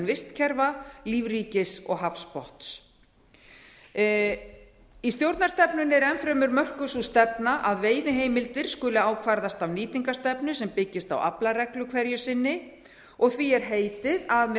vistkerfa lífríkis og hafsbotns í stjórnarstefnunni er enn fremur mörkuð sú stefna að veiðiheimildir skuli ákvarðast af nýtingarstefnu sem byggist á aflareglu hverju sinni og því er heitið að með